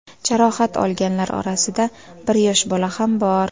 Jarohat olganlar orasida bir yosh bola ham bor.